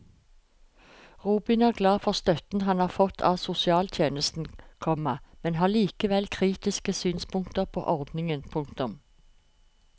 Robin er glad for støtten han har fått av sosialtjenesten, komma men har likevel kritiske synspunkter på ordningen. punktum